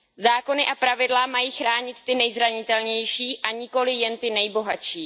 Zákony a pravidla mají chránit ty nejzranitelnější, a nikoliv jen ty nejbohatší.